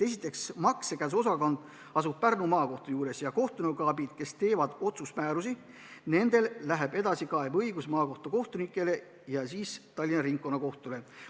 Esiteks, maksekäsuosakond asub Pärnu Maakohtu juures ja määrusi koostavate kohtunikuabide puhul läheb edasikaebeõigus maakohtu kohtunikele ja siis Tallinna Ringkonnakohtule.